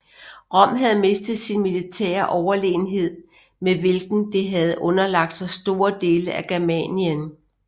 Rom havde mistet sin militære overlegenhed med hvilken det havde underlagt sig store dele af Germanien